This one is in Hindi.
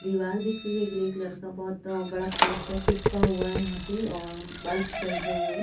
दिवार दिख रही है ग्रे कलर का बहुत त बड़ा पोस्टर चिपका हुआ है यहाँ पे और बल्ब जल रही है।